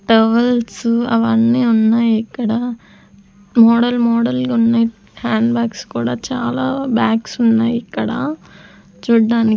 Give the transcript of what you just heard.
towers అవన్నీ ఉన్నాయిక్కడ model model ఉన్నాయ్ హ్యాండ్ బ్యాగ్స కూడా చాలా బ్యాగ్స్ ఉన్నాయ్ ఇక్కడ చూడ్డానికి--